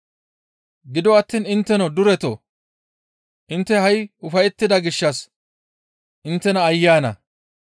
«Gido attiin intteno duretoo! Intte ha7i ufayettida gishshas inttes aayye ana!